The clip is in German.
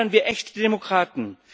Fördern wir echte Demokraten!